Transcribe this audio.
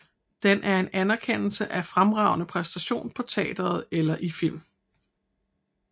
Den er en anerkendelse af fremragende præstation på teatret eller i film